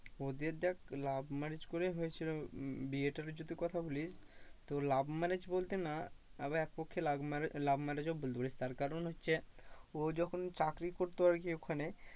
ওদের দেখ love marriage করে হয়েছিল। উম বিয়েটার যদি কথা বলিস তো love marriage বলতে না আবার পক্ষে love marriage ও বলতে পারিস তার কারণ হচ্ছে ও যখন চাকরি করতো আরকি ওখানে